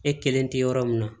E kelen tɛ yɔrɔ min na